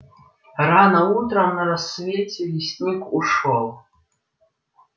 рано утром на рассвете лесник ушёл